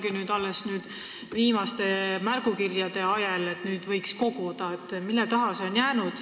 Kas mõte neid koguda ongi tekkinud alles nüüd viimaste märgukirjade ajel?